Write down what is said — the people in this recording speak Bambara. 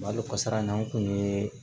Malo kasara in na n kun ye